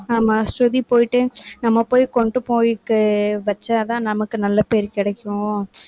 ஆமா ஸ்ருதி போயிட்டு நம்ம போய் கொண்டு போய்ட்டு வச்சாதான் நமக்கு நல்ல பேரு கிடைக்கும்